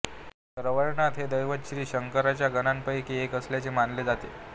रवळनाथ हे दैवत श्री शंकराच्या गणांपैकी एक असल्याचे मानले जाते